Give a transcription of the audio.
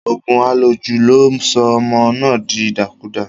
Òògùn àlòjù ló sọ ọmọ náà di ìdàkudà.